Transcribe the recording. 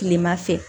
Kilema fɛ